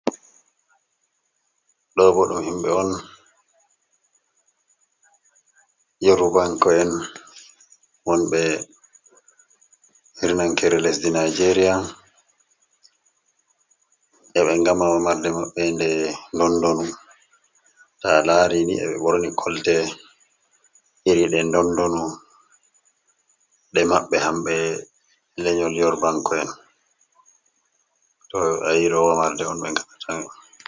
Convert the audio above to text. ɗo boɗɗum himɓe on yeru banko'en won ɓe rnankere lesdi nijeria yaɓe gamawa marde maɓbe nde dondonu ta lari ni eɓe worni kolte iri de dondonu ɗe maɓbe hamɓe lenyol yeur banko'en to airowa marde on begat.